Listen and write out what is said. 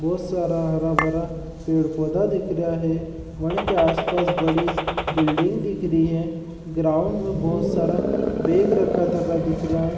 बोहोत सारा हरा भरा पेड़ पौधा दिख रा है वणी के आसपास बड़ी बिल्डिंग दिख री है ग्राउंड में बोहोत सारा बेग रखा तका दिख रा है।